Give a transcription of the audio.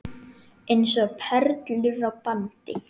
Eins og perlur á bandi.